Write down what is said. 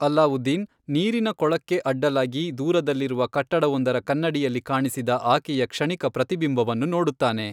ಅಲಾವುದ್ದೀನ್ ನೀರಿನ ಕೊಳಕ್ಕೆ ಅಡ್ಡಲಾಗಿ ದೂರದಲ್ಲಿರುವ ಕಟ್ಟಡವೊಂದರ ಕನ್ನಡಿಯಲ್ಲಿ ಕಾಣಿಸಿದ ಆಕೆಯ ಕ್ಷಣಿಕ ಪ್ರತಿಬಿಂಬವನ್ನು ನೋಡುತ್ತಾನೆ.